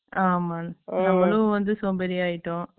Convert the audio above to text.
ஆமாங்க நம்மாளு வந்து சோம்பேறி ஆயிட்டோ